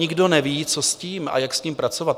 Nikdo neví, co s tím a jak s tím pracovat.